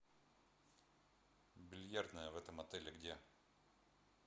бильярдная в этом отеле где